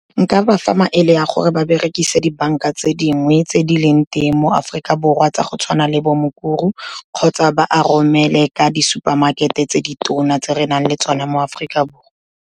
Nka ba fa maele a gore ba berekisa dibanka tse dingwe tse di leng teng mo Aforika Borwa, tsa go tshwana le bo Mukuru kgotsa ba a romele ka di-super market-e tse di tona tse re nang le tsona mo Aforika Borwa.